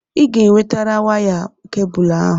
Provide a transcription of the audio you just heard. Ị ga-ewetara waya kebụlụ ahụ!